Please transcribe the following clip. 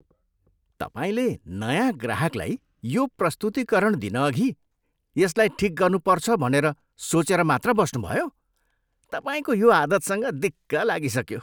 तपाईँले नयाँ ग्राहकलाई यो प्रस्तुतीकरण दिनअघि यसलाई ठिक गर्नुपर्छ भनेर सोचेर मात्र बस्नुभयो? तपाईँको यो आदतसँग दिक्क लागिसक्यो।